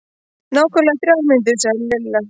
Nákvæmlega þrjár mínútur sagði Lilla.